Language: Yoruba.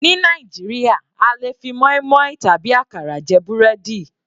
Ní Nàìjíríà a lè fi moinmoin tàbí àkàrà jẹ búrẹ́dì.